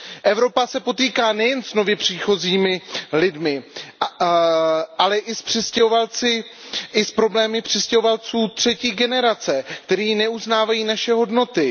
Evropa se potýká nejen s nově příchozími lidmi, ale i s přistěhovalci, s problémy přistěhovalců třetí generace, kteří neuznávají naše hodnoty.